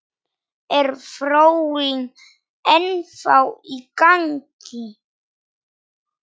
Er þróunin ennþá í gangi?